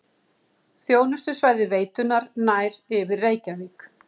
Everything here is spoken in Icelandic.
Þjónustusvæði veitunnar nær yfir Reykjavík